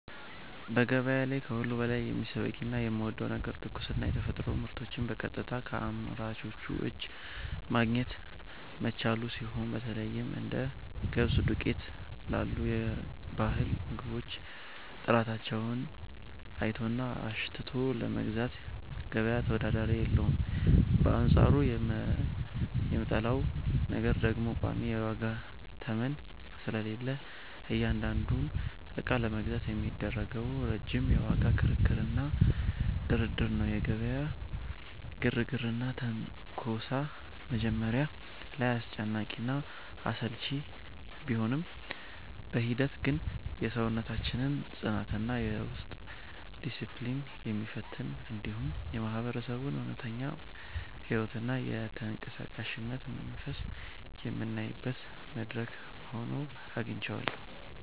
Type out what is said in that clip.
በገበያ ላይ ከሁሉ በላይ የሚስበኝና የምወደው ነገር ትኩስና የተፈጥሮ ምርቶችን በቀጥታ ከአምራቹ እጅ ማግኘት መቻሉ ሲሆን፣ በተለይም እንደ ገብስ ዱቄት ላሉ የባህል ምግቦች ጥራታቸውን አይቶና አሽትቶ ለመግዛት ገበያ ተወዳዳሪ የለውም፤ በአንጻሩ የምጠላው ነገር ደግሞ ቋሚ የዋጋ ተመን ስለሌለ እያንዳንዱን ዕቃ ለመግዛት የሚደረገው ረጅም የዋጋ ክርክርና ድርድር ነው። የገበያው ግርግርና ትንኮሳ መጀመሪያ ላይ አስጨናቂና አሰልቺ ቢሆንም፣ በሂደት ግን የሰውነታችንን ጽናትና የውስጥ ዲስፕሊን የሚፈትን፣ እንዲሁም የማህበረሰቡን እውነተኛ ሕይወትና የተንቀሳቃሽነት መንፈስ የምናይበት መድረክ ሆኖ አግኝቼዋለሁ።